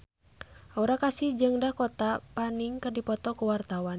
Aura Kasih jeung Dakota Fanning keur dipoto ku wartawan